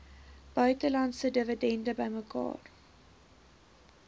buitelandse dividende bymekaar